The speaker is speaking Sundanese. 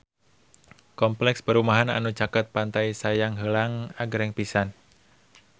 Kompleks perumahan anu caket Pantai Sayang Heulang agreng pisan